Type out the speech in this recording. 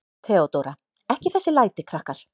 THEODÓRA: Ekki þessi læti, krakkar.